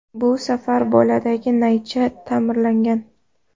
Bu safar boladagi naycha ta’mirlangan.